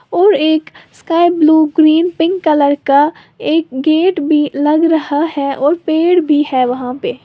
और एक sky blue green pink colour का एक गेट भी लग रहा है और पेड़ भी है वहां पे--